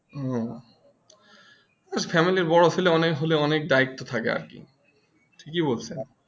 হু family বড় ছেলে হলে অনেক দায়িত্ব থাকে আর কি আর কি ঠিকই বলেছে